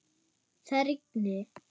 Það rigndi.